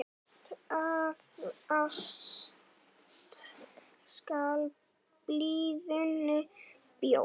Af ást skal blíðuna bjóða.